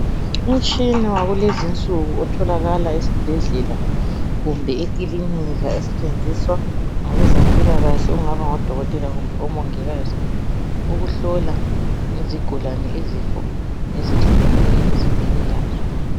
Umtshina wakulezi nsuku otholakala esibhedlela kumbe ekilinika osetshenziswa ngabezempilakahle okungaba ngodokotela kumbe omongikazi ukuhlola izigulane izifo ezihlukeneyo emzimbeni yazo.